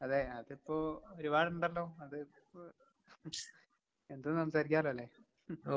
അതേ അതിപ്പോ ഒരുപാടുണ്ടല്ലോ അത് ഇപ്പൊ എന്തും സംസാരിക്കാല്ലോല്ലേ?